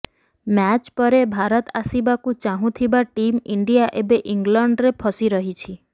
match ପରେ ଭାରତ ଆସିବାକୁ ଚାହୁଁଥିବା ଟିମ୍ ଇଣ୍ଡିଆ ଏବେ ଇଂଲଣ୍ଡରେ ଫସି ରହିଛି